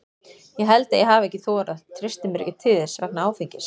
Ég held að ég hafi ekki þorað, treysti mér ekki til þess vegna áfengis.